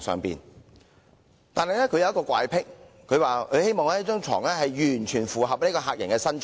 不過，他有一個怪僻，就是希望床的大小完全符合客人的身長。